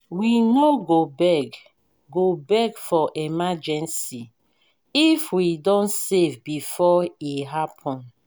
we no go beg go beg for emergency if we don save before e happen.